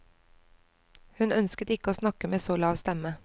Hun ønsket ikke å snakke med så lav stemme.